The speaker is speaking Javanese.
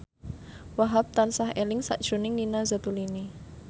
Wahhab tansah eling sakjroning Nina Zatulini